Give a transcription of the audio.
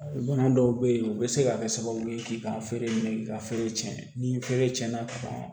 Bana dɔw be ye u be se ka kɛ sababu ye k'i ka feere minɛ k'i ka feere cɛn ni feere cɛn na